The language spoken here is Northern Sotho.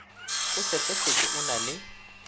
o sehlefetše o na le